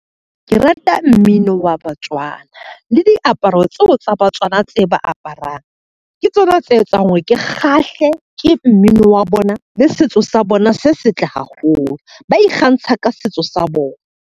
Ke rata mmino wa batswana, le diaparo tseo tsa batswana tse ba aparang ke tsona tse etsang hore ke kgahle ke mmino wa bona le setso sa bona se setle haholo. Ba ikgantsha ka setso sa bona.